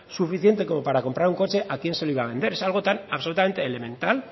suficiente como para comprar un coche a quién se lo iba a vender es algo tan absolutamente elemental